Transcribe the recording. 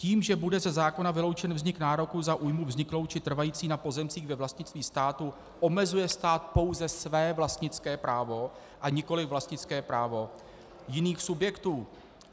Tím, že bude ze zákona vyloučen vznik nároku za újmu vzniklou či trvající na pozemcích ve vlastnictví státu, omezuje stát pouze své vlastnické právo a nikoliv vlastnické právo jiných subjektů.